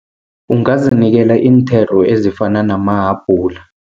Ungazinikela iinthelo ezifana namahabhula.